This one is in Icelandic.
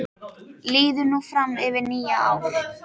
Líður nú fram yfir nýja ár.